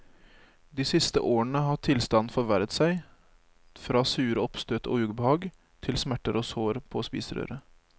De siste årene har tilstanden forverret seg til fra sure oppstøt og ubehag til smerter og sår på spiserøret.